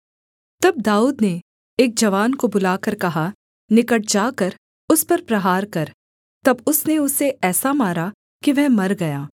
तब दाऊद ने एक जवान को बुलाकर कहा निकट जाकर उस पर प्रहार कर तब उसने उसे ऐसा मारा कि वह मर गया